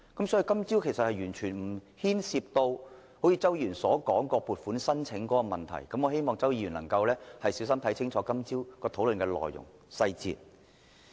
所以，在今早會議上完全沒有涉及周議員所說有關撥款申請的問題，我希望周議員能夠小心看清楚今早討論的內容和細節。